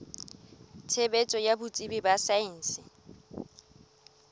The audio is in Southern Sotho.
tshebetso ya botsebi ba saense